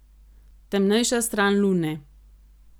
Temnejša stran lune.